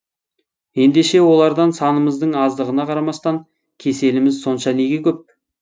ендеше олардан санымыздың аздығына қарамастан кеселіміз сонша неге көп